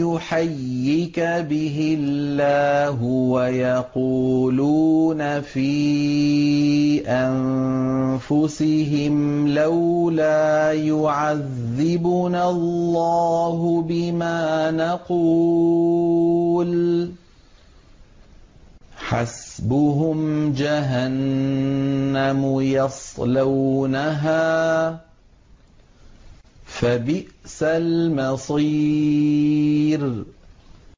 يُحَيِّكَ بِهِ اللَّهُ وَيَقُولُونَ فِي أَنفُسِهِمْ لَوْلَا يُعَذِّبُنَا اللَّهُ بِمَا نَقُولُ ۚ حَسْبُهُمْ جَهَنَّمُ يَصْلَوْنَهَا ۖ فَبِئْسَ الْمَصِيرُ